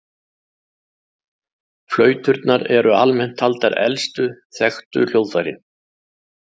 Flauturnar eru almennt taldar elstu þekktu hljóðfærin.